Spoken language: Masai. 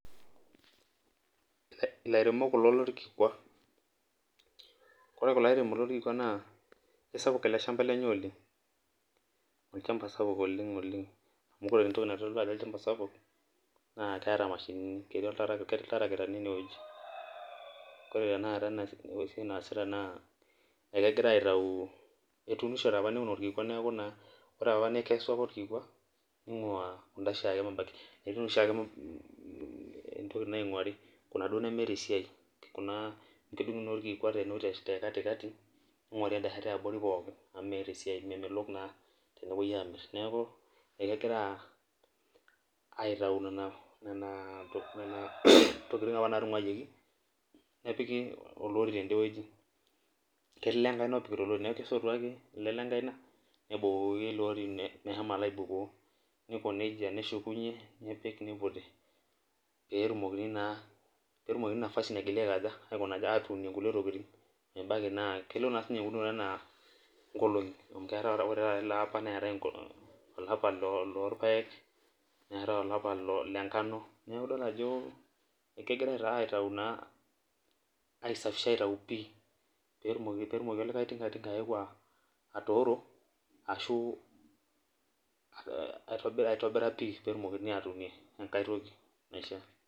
Ilairemok kulo lorkikwa. Ore kulo airemok lorkikwa naa isapuk ele shamba lenye oleng', olchamba sapuk oleng' oleng' amu ore entoki naitodolu ajo olchamba sapuk naa keeta mashinini. Ketii ilderekitani inewueji. Ore tenakata enaasita naa egira aitau, etuunishote opa neeku naa ore opa nekesu ake orkikwa ning'waa netii naa oshiake intokiting naing'waari kuna duo nemeeta esiai. Amu kedung'uni naa orkikwa te kati kati ning'wari enda shoto e abori pookin amu meeta esiai, memelok naa tenepwoi aamirr. Neeku egira aitau nena tokiting opa naatung'wayioki nepiki olori tende wueji. Kelio olenkaina opikita olori neeku kesotu ake ele lenkaina nebukoki iloori ine meshomo alo aibukoo. Niko nija neshukunye, nepiki niputi teetumokini naa, peetumokini nafasi naigila aiko ajo, atuun inkulie tokiting. Ebaiki naa kelo naa siininye eunoto enaa nkolong'i. Ore taata ele apa neetae olapa loorpaek, neetae olapa le ngano. Nidol naa ajo ekegirai naa aitau, ai safisha aitau pii peetumoki olikae tinga tinga atooro, ashu aitobira pii peetumokini atuunie enkae toki naishia.